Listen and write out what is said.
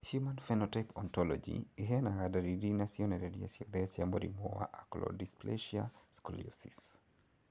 Human Phenotype Ontology ĩheanaga ndariri na cionereria ciothe cia mũrimũ wa Acrodysplasia scoliosis.